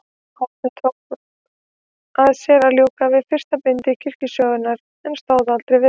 Árni tók að sér að ljúka við fyrsta bindi kirkjusögunnar, en stóð aldrei við það.